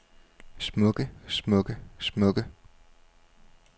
smukke smukke smukke